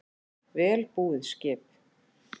Vel búið skip